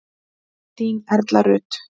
Þín Erla Rut.